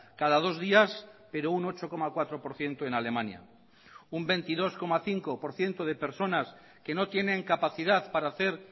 cada dos días pero un ocho coma cuatro por ciento en alemania un veintidós coma cinco por ciento de personas que no tienen capacidad para hacer